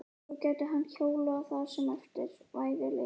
Svo gæti hann hjólað það sem eftir væri leiðarinnar.